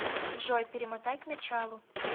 джой перемотай к началу